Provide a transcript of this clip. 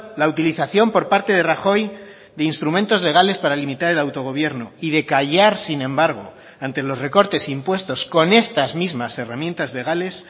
la utilización por parte de rajoy de instrumentos legales para limitar el autogobierno y de callar sin embargo ante los recortes impuestos con estas mismas herramientas legales